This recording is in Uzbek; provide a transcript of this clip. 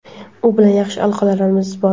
u bilan yaxshi aloqalarimiz bor.